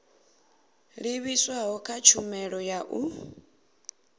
livhiswaho kha tshumelo ya u